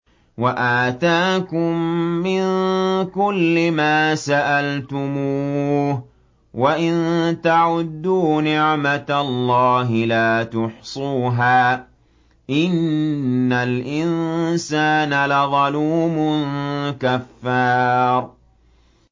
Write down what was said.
وَآتَاكُم مِّن كُلِّ مَا سَأَلْتُمُوهُ ۚ وَإِن تَعُدُّوا نِعْمَتَ اللَّهِ لَا تُحْصُوهَا ۗ إِنَّ الْإِنسَانَ لَظَلُومٌ كَفَّارٌ